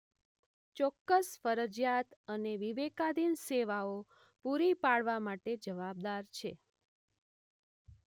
ચોક્કસ ફરજીયાત અને વિવેકાધીન સેવાઓ પૂરી પાડવા માટે જવાબદાર છે.